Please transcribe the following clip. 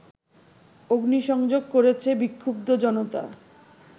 অগ্নিসংযোগ করেছে বিক্ষুব্ধ জনতা